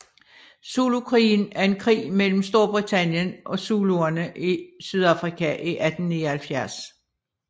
Zulukrigen er en krig mellem Storbritannien og zuluerne i Sydafrika i 1879